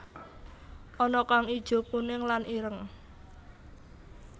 Ana kang ijo kuning lan ireng